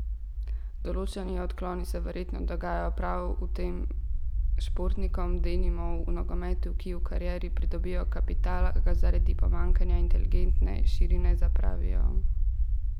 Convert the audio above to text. Določeni odkloni se verjetno dogajajo prav tem športnikom, denimo v nogometu, ki v karieri pridobijo kapital, a ga zaradi pomanjkanja inteligentne širine zapravijo.